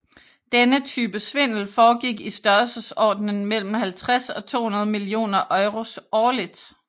Denne type svindel foregik i størrelsesordenen mellem 50 og 200 millioner euros årligt